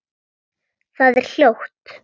Það er hljótt.